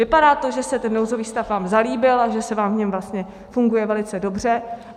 Vypadá to, že se ten nouzový stav vám zalíbil a že se vám v něm vlastně funguje velice dobře.